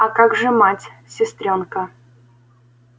а как же мать сестрёнка